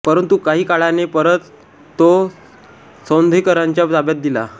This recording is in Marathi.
परंतु काही काळाने परत तो सौंधेकरांच्या ताब्यात दिला